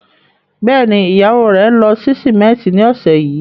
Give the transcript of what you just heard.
Bẹ́ẹ̀ ni, ìyàwó rẹ̀ ń lọ sí símẹ́ńtì ní ọ̀sẹ̀ yìí